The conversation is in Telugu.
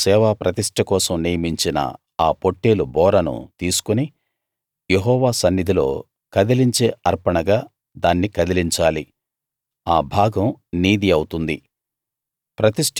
అహరోను సేవా ప్రతిష్ట కోసం నియమించిన ఆ పొట్టేలు బోరను తీసుకుని యెహోవా సన్నిధిలో కదిలించే అర్పణగా దాన్ని కదిలించాలి ఆ భాగం నీది అవుతుంది